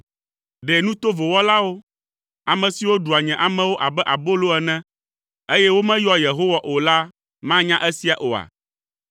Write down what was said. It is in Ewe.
Ɖe nu tovo wɔlawo, ame siwo ɖua nye amewo abe abolo ene, eye womeyɔa Yehowa o la manya esia oa?